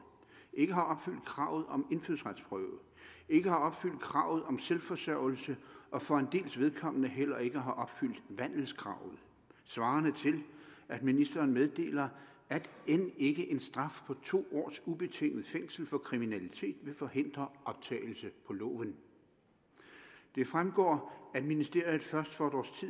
ikke har opfyldt kravet om indfødsretsprøve ikke har opfyldt kravet om selvforsørgelse og for en dels vedkommende heller ikke har opfyldt vandelskravet svarende til at ministeren meddeler at end ikke en straf på to års ubetinget fængsel for kriminalitet vil forhindre optagelse på loven det fremgår at ministeriet først for et års